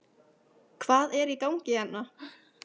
HVAÐ ER Í GANGI HÉRNA????